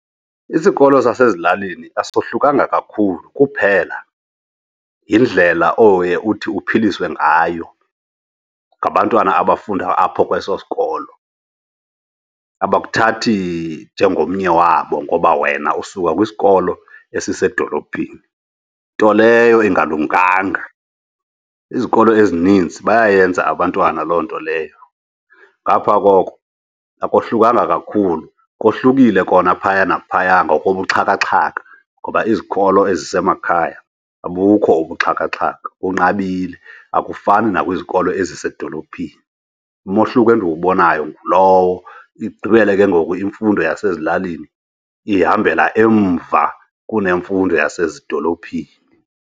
Isikolo sasezilalini asohlukanga kakhulu, kuphela yindlela oye uthi uphiliswe ngayo ngabantwana abafunda apho kweso sikolo. Abakuthathi nje ngomnye wabo ngoba wena usuka kwisikolo esisedolophini, nto leyo ingalumkanga. Izikolo ezininzi bayayenza abantwana loo nto leyo, ngaphaa koko akohlukanga kakhulu, kohlukile kona phaya naphaya ngokobuxhakaxhaka. Ngoba izikolo ezisemakhaya abukho ubuxhakaxhaka, kunqabile, akufani nakwiizikolo ezisezidolophini. Umohluko endibubonayo ngulowo, igqibele ke ngoku imfundo yasezilalini ihambela emva kunemfundo yasezidolophini.